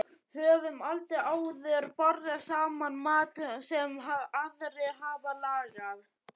Höfum aldrei áður borðað saman mat sem aðrir hafa lagað.